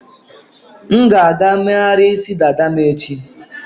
M ga-aga megharịa isi dada m echi.